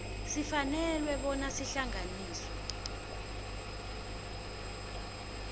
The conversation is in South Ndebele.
sifanele bona sihlanganiswe